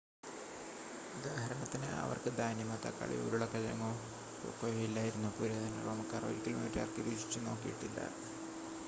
ഉദാഹരണത്തിന് അവർക്ക് ധാന്യമോ തക്കാളിയോ ഉരുളക്കിഴങ്ങോ കൊക്കോയോ ഇല്ലായിരുന്നു പുരാതന റോമക്കാർ ഒരിക്കലും ഒരു ടർക്കി രുചിച്ചു നോക്കിയിച്ചിട്ടില്ല